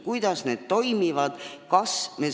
Kuidas need toimivad?